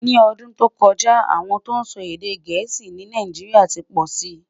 ní ọdún tó kojá, àwọn tó ló sọ èdè gèésì ní Nàìjíríà tí pósí